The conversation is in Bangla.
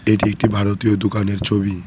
এটি একটি ভারতীয় দুকানের ছবি।